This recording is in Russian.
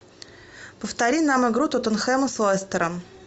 повтори нам игру тоттенхэма с лестером